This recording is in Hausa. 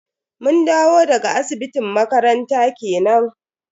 Mun dawo daga asibitin makaranta kenan.